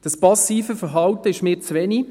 Das passive Verhalten ist mir zu wenig.